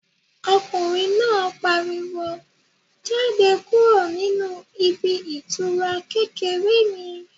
Ọkùnrin náà pariwo "Jáde kúrò nínú ibi ìtura kékeré mi"